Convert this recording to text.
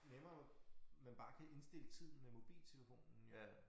Nemmere man bare kan indstille tiden med mobiltelefonen jo